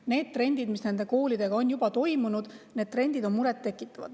Need trendid, mis nendes koolides juba on, tekitavad muret.